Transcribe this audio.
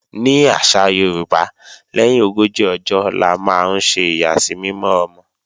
Ní àṣà Yorùbá, lẹ́yìn ogójì ọjọ́ la máa ń ṣe ìyàsímímọ́ ọmọ